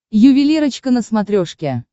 ювелирочка на смотрешке